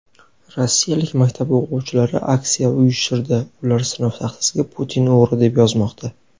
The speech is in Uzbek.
Rossiyalik maktab o‘quvchilari aksiya uyushtirdi — ular sinf taxtasiga "Putin — o‘g‘ri" deb yozmoqda.